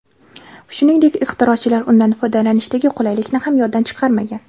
Shuningdek, ixtirochilar undan foydalanishdagi qulaylikni ham yoddan chiqarmagan.